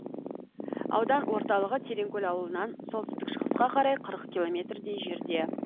аудан орталығы тереңкөл ауылынан солтүстік шығысқа қарай қырық километрдей жерде